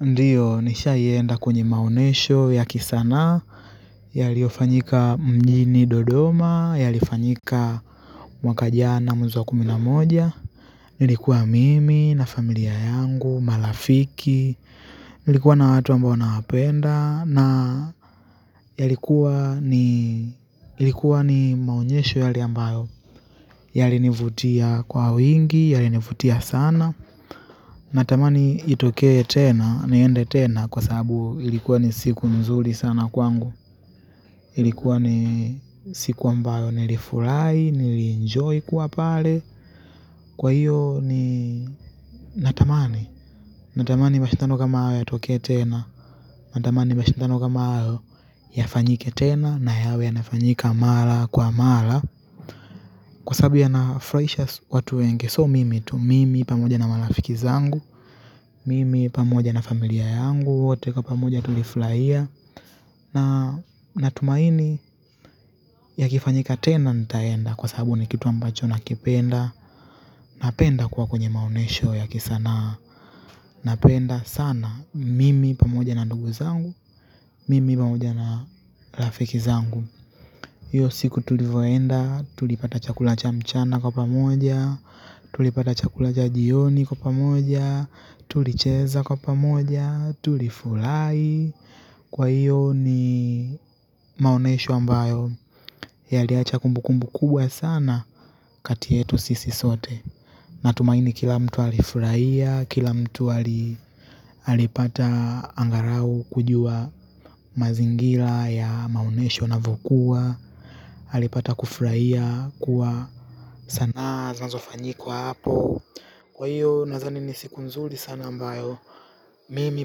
Ndio, nishawahi enda kwenye maonesho ya kisanaa yaliofanyika mjini Dodoma, yalifanyika mwaka jana mwezi wa kumi na moja ilikuwa mimi na familia yangu marafiki nilikuwa na watu ambao nawapenda na yalikuwa ni maonyesho yale ambayo yalini vutia kwa wingi, yalini vutia sana natamani itokee tena, niende tena kwa sababu ilikuwa ni siku nzuri sana kwangu ilikuwa ni siku ambayo nilifurai, nili enjoy kuwa pale kwa hiyo ni natamani natamani mashindano kama hayo yatokee tena natamani mashindano kama hayo yafanyike tena na yawe yanafanyika mara kwa mara kwa sababu yana furahisha watu wengi sio mimi tu mimi pamoja na marafiki zangu mimi pamoja na familia yangu, wote kwa pamoja tulifurahia. Natumaini yakifanyika tena nitaenda kwa sababu ni kitu ambacho nakipenda napenda kuwa kwenye maonyesho ya kisanaa napenda sana mimi pamoja na ndugu zangu mimi pamoja na rafiki zangu hiyo siku tulivyoenda, tulipata chakula cha mchana kwa pamoja. Tulipata chakula cha jioni kwa pamoja tulicheza kwa pamoja tulifurahi kwa hiyo ni maonyesho ambayo yaliacha kumbukumbu kubwa sana kati yetu sisi sote. Natumaini kila mtu alifurahia kila mtu alipata angalau kujua mazingira ya maonyesho yanavyokua. Alipata kufurahia kuwa sanaa zinozofanyikwa hapo kwa hiyo nazani ni siku nzuri sana ambayo mimi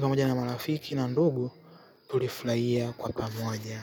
pamoja na marafiki na ndugu tulifurahia kwa pamoja.